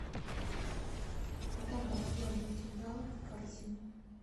добавь яблоки гала в корзину